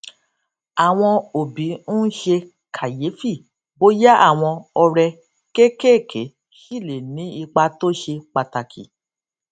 ó máa ń dín èròjà kaféènì tó ń mu kù nígbà tó bá rí i pé àníyàn ti pò jù